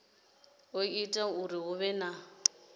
o ita uri hu vhe